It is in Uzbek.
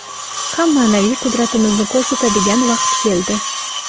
ham maʼnaviy qudratimizni koʼrsatadigan vaqt keldi.